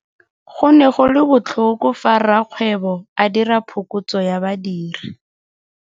Go ne go le botlhoko fa rakgweebo a dira phokotso ya badiri.